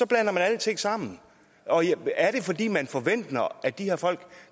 blander alting sammen er det fordi man forventer at de her folk